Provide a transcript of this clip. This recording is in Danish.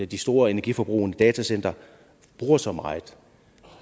de store energiforbrugende datacentre bruger så meget